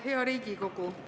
Hea Riigikogu!